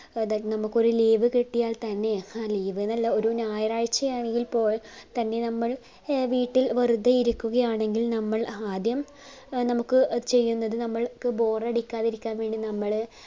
സാധാരണ നമ്മുക് ഒരു leave കിട്ടിയാൽ തന്നെ ഹാ leave എന്നല്ല ഒരു ഞായറാഴ്ച ആണെങ്കിൽ പോൽ തന്നെ നമ്മൾ വീട്ടിൽ വെറുതെ ഇരിക്കുകയാണെങ്കിൽ നമ്മൾ ആദ്യം നമ്മുക് ചെയ്യുന്നത് നമ്മുക് bore അടിക്കാതിരിക്കാൻ വേണ്ടി നമ്മൾ